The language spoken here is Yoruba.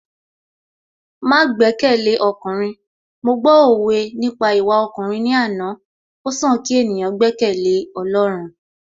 Má gbẹ́kẹ̀lé ọkùnrin, mo gbọ́ òwe nípa ìwà ọkùnrin ní àná, ó sàn kí ènìyàn gbẹ́kẹ̀lé Ọlọ́run